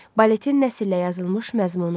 Baletin nəsrlə yazılmış məzmunu.